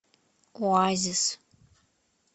оазис